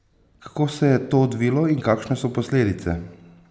Kako se je to odvilo in kakšne so posledice?